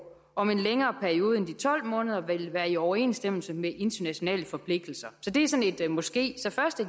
om en længere periode end de tolv måneder vil være i overensstemmelse med internationale forpligtelser så det er sådan et måske så først